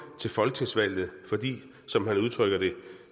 til folketingsvalget fordi som han udtrykker det